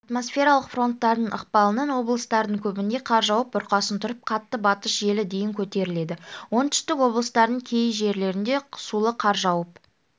атмосфералық фронттардың ықпалынан облыстардың көбінде қар жауып бұрқасын тұрып қатты батыс желі дейін көтеріледі оңтүстік облыстардың кей жерлеріне сулы қар жауып